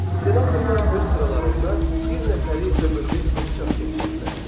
Senatorlar öz sıralarında bir nəfəri ömürlük padşah seçirdilər.